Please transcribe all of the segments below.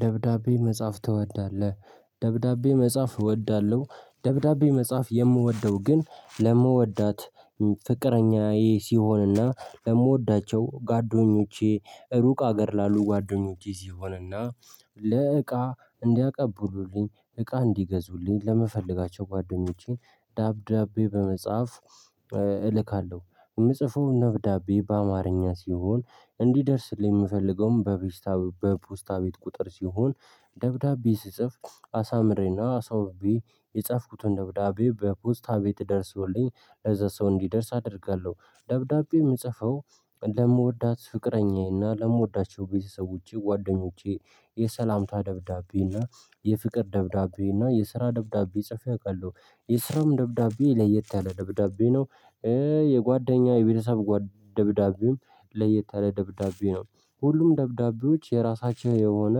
ደብዳቤ መጻፍ ትወዳለህ? ደብዳቤ መጻፍ እወዳለሁ። ደብዳቤ መጻፍ የምወደው ግን ለምወዳት ፍቅረኛዬ ሲሆንና ለምወዳቸው ጓደኞቼ ሩቅ አገር ላሉ ጓደኞቼ ሲሆንና። ለእቃ እንዲያቀቡሉልኝ እቃ እንዲገዙልኝ ለምፈለጋቸው ጓደኞቼን ደብዳቤ በመጻፍ። የምጽፈው ነብዳቤ በአማርኛ ሲሆን እንዲደርስልኝ የምፈልገውም በቢስታ በፖስታ ቤት ቁጥር ሲሆን። ደብዳቤ ስጽፍ አሳምሬና አስውቤ የጻፍኩትን ደብዳቤ በፖስታ ቤት ደርሶልኝ ለዛ ሰው እንዲደርስ አደርጋለሁ። ደብዳቤ የምጽፈው ለምወዳት ፍቅረኛዬና ለምወዳቸው ቤተሰቦቼ ጓደኞቼ የሰላምታ ደብዳቤና የፍቅር ደብዳቤ እና የስራ ደብዳቤ ጽፌ አውቃለሁ። የስራም ደብዳቤ ለየት ያለ ደብዳቤ ነው። የቤተሰብ ደብዳቤም ለየትያለ ደብዳቤ ነው። ሁሉም ደብዳቤዎች የራሳቸው የሆነ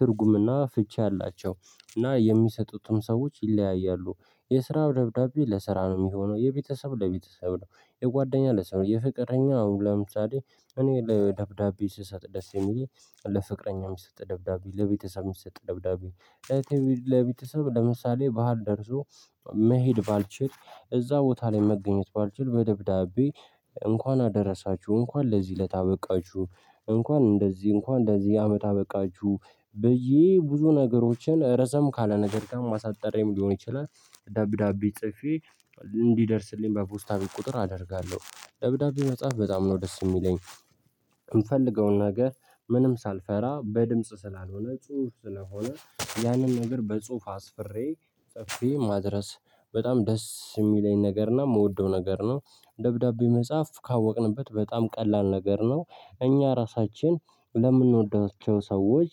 ትርጉምና ፍቺ አላቸው። እና የሚሰጡትን ሰዎች ይለያያሉ። የስራው ደብዳቤ ለስራ ነው የሚሆነው የቤተሰብ ለቤተሰብ ነው የጓደኛ ለሰው ነው የፍቅረኛው ለምሳሌ። እኔ ለ ደብዳቤ ስሰጥ ደስ የሚለኝ ለፍቅረኛ እሚሰጥ ደብዳቤ ለቤተሰብ የሚሰጥ ደብዳቤ። ለቤተሰብ ለምሳሌ በዓል ደርሶ መሄድ ባልችል እዛ ቦታ ላይ መገኘት ባልችል በደብዳቤ እንኳን አደረሳችሁ እንኳን ለዚህ እለት አበቃችሁ እንኳን እንደዚህ እንኳን ለዚህ አመት አበቃችሁ ብዬ ብዙ ነገሮችን ረዘም ካለ ነገር ጋር አሳጥሬም ሊሆን ይችላል። ደብዳቤ ጽፌ እንዲደርስልኝ በፖስታ ቤት ቁጥር አደርጋለሁ ደብዳቤ መጽሐፍ በጣም ነው ደስ የሚለኝ። የምፈልገውን ነገር ምንም ሳልፈራ በድምጽ ስላልሆነ ጽሁፍ ስለሆነ ያንን ነገር በጽሁፍ አስፍሬ ጽፌ ማድረስ በጣም ደስ የሚለኝ ነገር እና እምወደው ነገር ነው። ደብዳቤ መጽፍ ካወቅንበት በጣም ቀላል ነገር ነው። እኛ ራሳችን ለምንወዳቸው ሰወች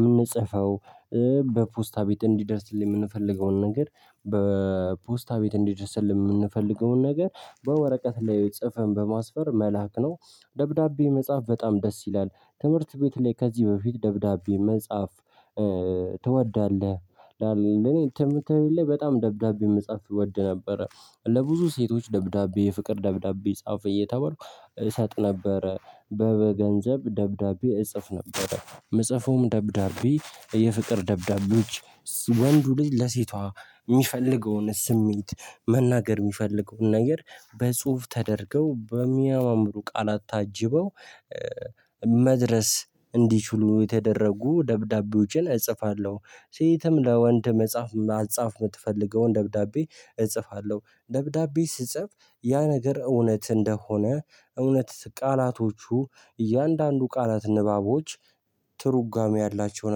እምንጽፈው በፖስታ ቤት እንዲደርስልኝ የምንፈልገውን ነገር በፖስታ ቤት እንዲደርስ የምንፈልገውን ነገር በወረቀት ላይ ጽፈን በማስፈር መላክ ነው። ደብዳቤ መጽሐፍ በጣም ደስ ይላል። ትምህርት ቤት ላይ ከዚህ በፊት ደብዳቤ መጻፍ ትወዳለህ? እኔ ትምህርት ቤት ላይ በጣም ደብዳቤ መጻፍ እወድ ነበረ። ለብዙ ሴቶች ደብዳቤ የፍቅር ደብዳቤ ጻፍ እየተባልኩ እሰጥ ነበረ። በገንዘብ ደብዳቤ እጽፍ ነበረ እምጽፈውም ደብዳቤ የፍቅር ደብዳቤዎች ወንዱ ልጂ ለሴቷ የሚፈልገውን ስሜት መናገር የሚፈልገውን ነገር በጽሁፍ ተደርገው በሚያማምሩ ቃላት ታጅበው መድረስ እንዲችሉ የተደረጉ ደብዳቤዎችን እጽፋለሁ። ሴትም ለወንድ መጻፍ ማጻፍ የምትፈልገውን ደብዳቤ እጽፋለሁ ደብዳቤ ስጽፍ ያ ነገር እውነት እንደሆነ እውነት ቃላቶቹ እያንዳንዱ ቃላት ንባቦች ትርጓሜ ያላቸው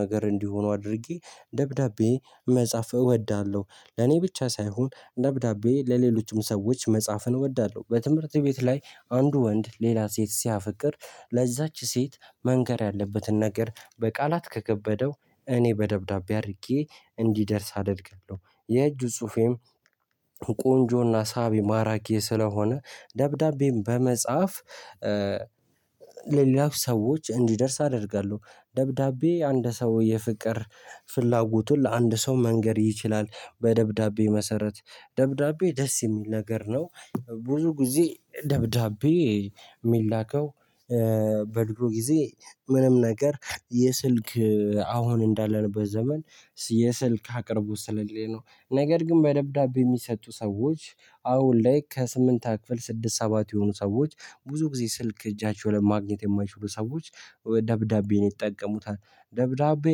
ነገር እንዲሆኑ አድርጌ ደብዳቤ መጻፍ እወዳለሁ። ለኔ ብቻ ሳይሆን ደብዳቤ ለሌሎችም ሰዎች መጻፍን እወዳለሁ። በትምህርት ቤት ላይ አንድ ወንድ ሌላ ሴት ሲያፈቅር ለዛች ሴት መንገር ያለበትን ነገር በቃላት ከከበደው እኔ በደብዳቤ አድርጌ እንዲደርስ አደርጋለሁ። የእጁ ጽሁፌም ቆንጆና ሳቢ ማራኪ ስለሆነ ደብዳቤም በመጻፍ ለሌላው ሰዎች እንዲደርስ አደርጋለሁ። ደብዳቤ አንድ ሰው የፍቅር ፍላጎቱን ለአንድ ሰው መንገር ይችላል በደብዳቤ መሰረት ደብዳቤ ደስ የሚል ነገር ነው። ብዙ ጊዜ ደብዳቤ እሚላከው። በድሮ ጊዜ ምንም ነገር የስልክ አሁን እንዳለንበት ዘመን የስልክ አቅርቦት ስለሌለ ነው ነገር ግን በደብዳቤ የሚሰጡ ሰዎች አሁን ላይ ከስምንተኛ ክፍል ስድስት ሰባት የሆኑ ሰዎች ብዙ ጊዜ ስልክ እጃቸው ላይ ማግኘት የማይችሉ ሰዎች ደብዳቤን ይጠቀሙታል። ደብዳቤ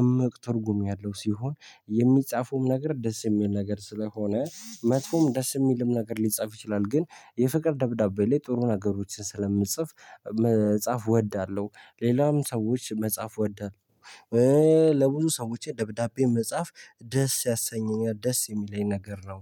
እምቅ ትርጉም ያለው ሲሆን የሚጻፉም ነገር ደስ የሚል ነገር ስለሆነ መጥፎም ደስ የሚልም ነገር ሊጻፍ ይችላል ግን የፍቅር ደብዳቤ ላይ ጥሩ ነገሮችን ስለምንጽፍ መጻፍ እወዳለሁ። ሌላም ሰዎች መጽፍ እወዳለሁ። ለብዙ ሰዎች ደብዳቤ መጽፍ ደስ ያሰኘኛል ደስ የሚለኝ ነገር ነው